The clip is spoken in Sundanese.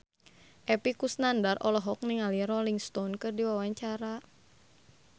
Epy Kusnandar olohok ningali Rolling Stone keur diwawancara